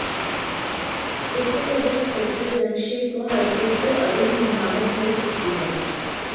इससे पहले इंस्पेक्टर जंगशेर को हाईकोर्ट से अग्रिम जमानत मिल चुकी है